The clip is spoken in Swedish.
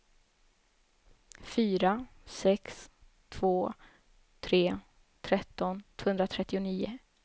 fyra sex två tre tretton tvåhundratrettionio